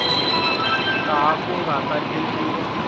laha ku nga ta endliwa